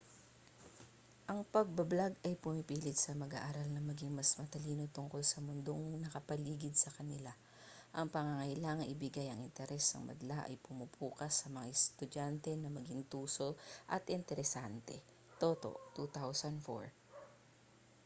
ang pagbo-blog ay pumipilit sa mag-aaral na maging mas matalino tungkol sa mundong nakapaligid sa kanila. ang pangangailangan ibigay ang interes ng madla ay pumupukas sa mga estudyante na maging tuso at interesante toto 2004